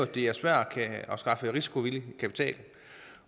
det er svært at skaffe risikovillig kapital